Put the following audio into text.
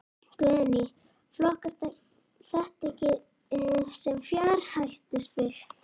Guðný: Flokkast þetta ekki sem fjárhættuspil?